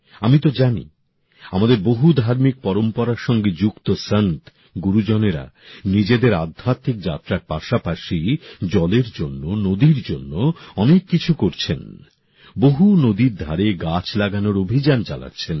আমি তো জানি আমাদের বহু ধার্মিক পরম্পরার সঙ্গে যুক্ত সাধু সন্ত গুরুজনেরা নিজেদের আধ্যাত্মিক যাত্রার পাশাপাশি জলের জন্য নদীর জন্য অনেক কিছু করছেন বহু নদীর ধারে গাছ লাগানোর অভিযান চালাচ্ছেন